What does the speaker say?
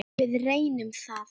Við reynum það.